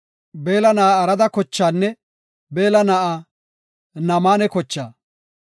Beella na7aa Arada kochaanne Beella na7aa Naamane kochaa.